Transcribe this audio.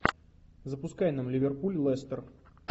запускай нам ливерпуль лестер